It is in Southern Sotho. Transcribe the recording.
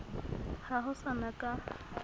ha ho sa na ka